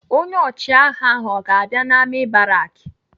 Onye ọchịagha ahụ ọ ga-abịa n'amị̀ baraki?